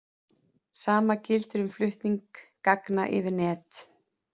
Sama gildir um flutning gagna yfir net.